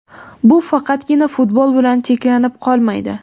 Bu faqatgina futbol bilan cheklanib qolmaydi.